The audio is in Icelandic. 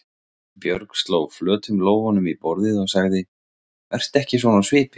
Björg sló flötum lófunum í borðið og sagði: Vertu ekki svona á svipinn.